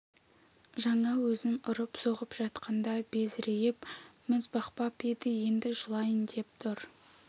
жаңа өзін ұрып-соғып жатқанда безірейіп міз бақпап еді енді жылайын деп тұр